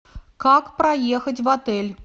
как проехать в отель